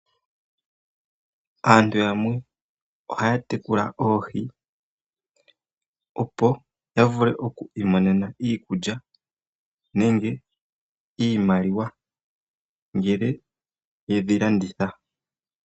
Aantu yamwe ohaya tekula oohi, opo ya vule oku imonena iikulya nenge iimaliwa ngele yedhi landitha.